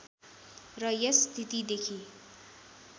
र यस स्थितिदेखि